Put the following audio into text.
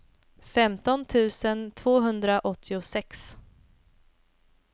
femton tusen tvåhundraåttiosex